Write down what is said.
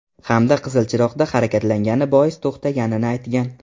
Hamda qizil chiroqda harakatlangani bois to‘xtatganini aytgan.